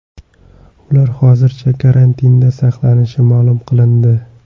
Ular hozircha karantinda saqlanishi ma’lum qilindi.